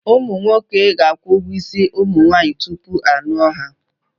Ụmụ nwoke ga-akwụ ụgwọ isi ụmụ nwaanyị tupu ha alụọ ha.